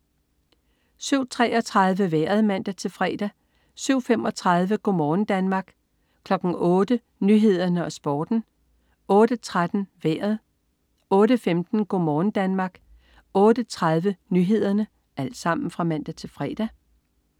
07.33 Vejret (man-fre) 07.35 Go' morgen Danmark (man-fre) 08.00 Nyhederne og Sporten (man-fre) 08.13 Vejret (man-fre) 08.15 Go' morgen Danmark (man-fre) 08.30 Nyhederne (man-fre)